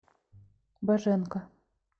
боженко